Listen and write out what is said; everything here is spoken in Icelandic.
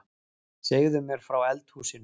Segðu mér frá eldhúsinu